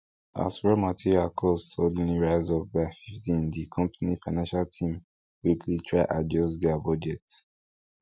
as raw material cost suddenly rise up by fifteen di company financial team quickly try adjust their budget